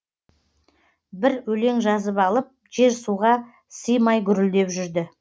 бір өлең жазып алып жер суға симай гүрілдеп жүрді